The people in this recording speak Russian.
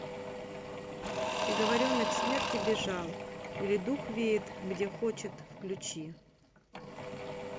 приговоренный к смерти бежал или дух веет где хочет включи